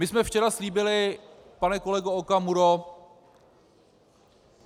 My jsme včera slíbili, pane kolego Okamuro...